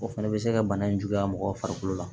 O fana bɛ se ka bana in juguya mɔgɔw farikolo farikolo la